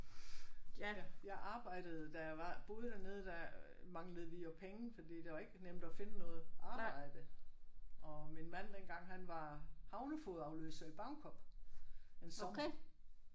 Jeg arbejdede da jeg var boede dernede der manglede vi jo penge fordi det var ikke nemt at finde noget arbejde og min mand dengang han var havnefogedafløser i Bagenkop en sommer